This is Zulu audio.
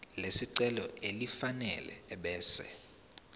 lesicelo elifanele ebese